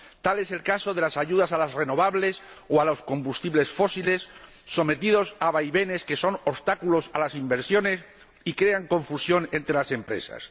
Tal es el caso de las ayudas a las energías renovables o a los combustibles fósiles, sometidos a vaivenes que son obstáculos a las inversiones y crean confusión entre las empresas.